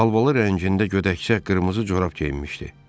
Alvalı rəngində gödəkçək, qırmızı corab geyinmişdi.